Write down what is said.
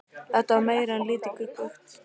Þetta var meira en lítið gruggugt.